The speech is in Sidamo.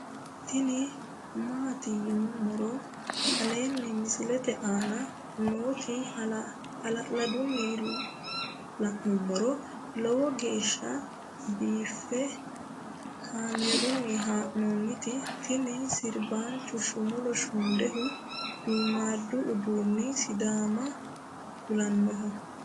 tini maati yinummoro aleenni misilete aana nooti hala'ladunni la'nummoro lowo geeshsha biiffe kaamerunni haa'nooniti tini sirbacho shumulo shundeho duummadu uduunni sidaamimma kulannoho